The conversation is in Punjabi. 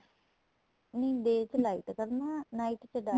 ਨਹੀਂ day ਚ light ਕਰਨਾ night ਚ dark